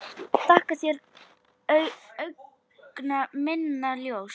Þakka þér, augna minna ljós.